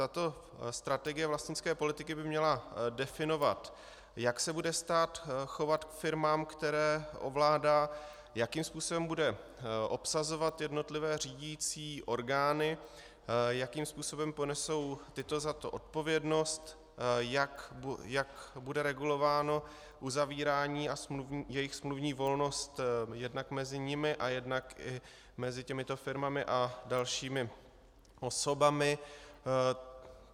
Tato strategie vlastnické politiky by měla definovat, jak se bude stát chovat k firmám, které ovládá, jakým způsobem bude obsazovat jednotlivé řídicí orgány, jakým způsobem ponesou tyto za to odpovědnost, jak bude regulováno uzavírání a jejich smluvní volnost jednak mezi nimi a jednak i mezi těmito firmami a dalšími osobami.